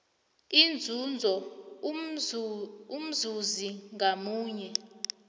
inzuzo umzuzi ngamunye